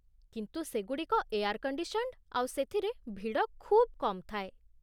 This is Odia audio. କିନ୍ତୁ ସେଗୁଡ଼ିକ ଏୟାର୍ କଣ୍ଡିସନ୍ଡ ଆଉ ସେଥିରେ ଭିଡ଼ ଖୁବ୍ କମ୍ ଥାଏ ।